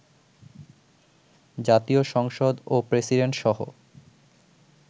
জাতীয় সংসদ ও প্রেসিডেন্টসহ